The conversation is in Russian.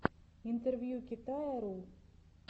интервью китая ру